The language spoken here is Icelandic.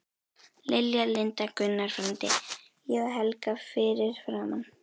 Lilja, Linda, Gunnar frændi, ég og Helga fyrir framan.